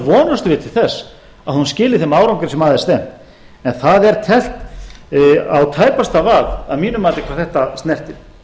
vonumst við til þess að hún skili þeim árangri sem að er stefnt en það er teflt á tæpasta vað að mínu mati hvað þetta snertir